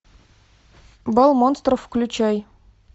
бал монстров включай